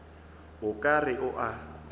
o ka re o a